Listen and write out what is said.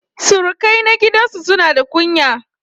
Surukai na gidan su suna da kunya